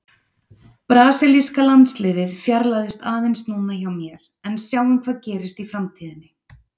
Brasilíska landsliðið fjarlægist aðeins núna hjá mér en sjáum hvað gerist í framtíðinni!